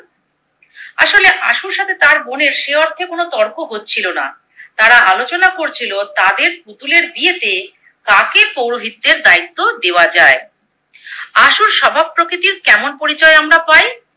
আশুর সাথে তার বোনের সেই অর্থে কোনো তর্ক হচ্ছিলো না। তারা আলোচনা করছিলো তাদের পুতুলের বিয়েতে কাকে পৌরোহিত্যের দায়িত্ব দেওয়া যায়। আশুর স্বভাব প্রকৃতির কেমন পরিচয় আমরা পাই?